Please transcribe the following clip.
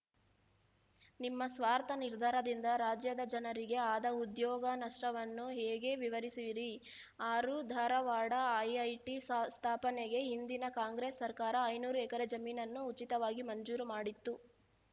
ನಿಮ್ಮ ಸ್ವಾರ್ಥ ನಿರ್ಧಾರದಿಂದ ರಾಜ್ಯದ ಜನರಿಗೆ ಆದ ಉದ್ಯೋಗ ನಷ್ಟವನ್ನು ಹೇಗೆ ವಿವರಿಸುವಿರಿ ಆರು ಧಾರವಾಡ ಐಐಟಿ ಸ ಸ್ಥಾಪನೆಗೆ ಹಿಂದಿನ ಕಾಂಗ್ರೆಸ್‌ ಸರ್ಕಾರ ಐನೂರು ಎಕರೆ ಜಮೀನನ್ನು ಉಚಿತವಾಗಿ ಮಂಜೂರು ಮಾಡಿತ್ತು